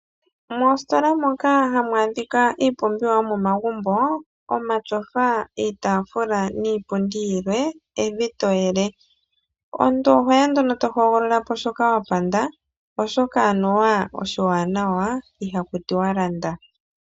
Moositola moka hamu adhika iipumbiwa yomomagumbo, omatyofa, iitaafula niipundi yilwe, evi toyele. Omuntu ohoya nduno tohogolola shoka wahokwa, oshoka anuwa oshiwanawa ihaku tiwa landa.